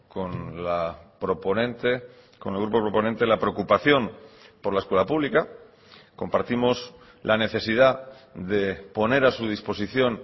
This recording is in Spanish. con la proponente con el grupo proponente la preocupación por la escuela pública compartimos la necesidad de poner a su disposición